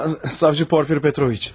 Savcı Porfiri Petroviç.